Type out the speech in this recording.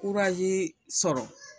sɔrɔ